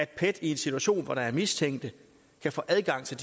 pet i en situation hvor der er mistænkte få adgang til